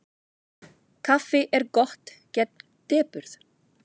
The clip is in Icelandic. Kaffi er gott gegn depurð.